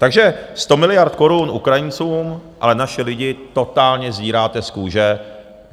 Takže 100 miliard korun Ukrajincům, ale naše lidi totálně sdíráte z kůže.